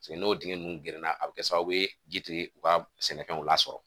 N'o dingɛ ninnu gerenna a bɛ kɛ sababu ye ji ti u ka sɛnɛfɛnw lasɔrɔ